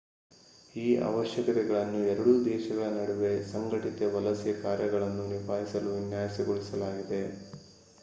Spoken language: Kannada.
ಈ ಅವಶ್ಯಕತೆಗಳನ್ನು ಎರಡೂ ದೇಶಗಳ ನಡುವೆ ಸಂಘಟಿತ ವಲಸೆ ಕಾರ್ಯವನ್ನು ನಿಭಾಯಿಸಲು ವಿನ್ಯಾಸಗೊಳಿಸಲಾಗಿದೆ